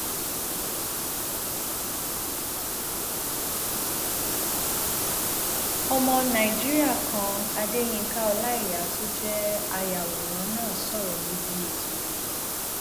ọmọ nàìjíríà kan adéyinka ọláíyà tó jẹ ayàwòrán náà sọrọ níbi ètò yìí